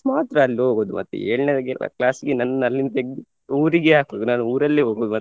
ಮಾತ್ರ ಅಲ್ಲ್ ಹೋಗುದು ಮತ್ತೆ ಏಳ್ನೆಗೆಲ್ಲ class ಗೆ ನನ್ನ್ ಅಲ್ಲಿಂದ ತೆಗ್ದು ಊರಿಗೆ ಹಾಕುದು ನಾನು ಊರಲ್ಲೇ ಹೋಗುದು.